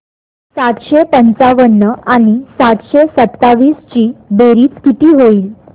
सातशे पंचावन्न आणि सातशे सत्तावीस ची बेरीज किती होईल